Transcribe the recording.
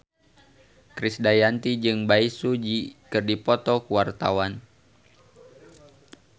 Krisdayanti jeung Bae Su Ji keur dipoto ku wartawan